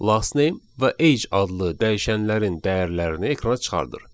"Last name" və "age" adlı dəyişənlərin dəyərlərini ekrana çıxardım.